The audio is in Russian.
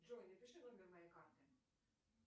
джой напиши номер моей карты